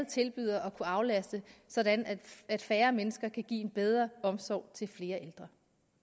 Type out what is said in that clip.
tilbyder at aflaste sådan at færre mennesker kan give en bedre omsorg til flere ældre